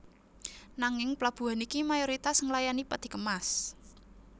Nanging plabuhan iki mayoritas nglayani peti kemas